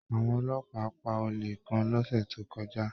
Àwọn ọlọ́pàá pá olè kàn lọ́sẹ̀ tó kọjá